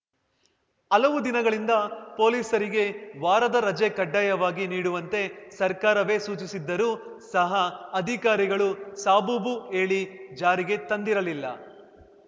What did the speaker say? ಹಲವು ದಿನಗಳಿಂದ ಪೊಲೀಸರಿಗೆ ವಾರದ ರಜೆ ಕಡ್ಡಾಯವಾಗಿ ನೀಡುವಂತೆ ಸರ್ಕಾರವೇ ಸೂಚಿಸಿದ್ದರು ಸಹ ಅಧಿಕಾರಿಗಳು ಸಾಬೂಬು ಹೇಳಿ ಜಾರಿಗೆ ತಂದಿರಲಿಲ್ಲ